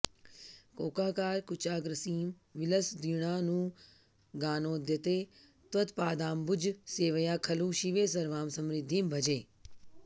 कोकाकार कुचाग्रसीमविलसद्वीणानुगानोद्यते त्वत्पादाम्बुजसेवया खलु शिवे सर्वां समृद्धिं भजे